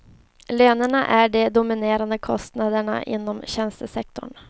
Lönerna är de dominerande kostnaderna inom tjänstesektorn.